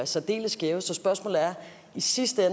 særdeles skæve så spørgsmålet er i sidste